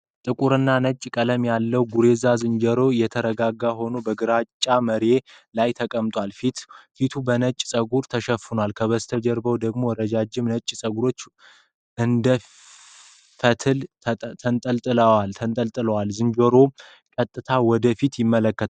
ጥቁርና ነጭ ቀለም ያለው ጉሬዛ ዝንጀሮ የተረጋጋ ሆኖ በግራጫ መርዪት ላይ ተቀምጧል፡፡ ፊቱ በነጭ ፀጉር ተሸፍኗል፣ ከጀርባው ደግሞ ረዥም ነጭ ፀጉር እንደ ፈትል ተንጠልጥሏል፡፡ ዝንጀሮው ቀጥታ ወደ ፊት ይመለከታል፡፡